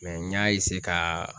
Mɛ n y'a eseye ka